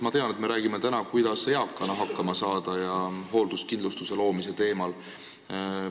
Ma tean, et me räägime täna sellest, kuidas eakana hakkama saada, ja räägime hoolduskindlustuse loomise teemal.